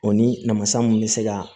O ni namasa mun bɛ se ka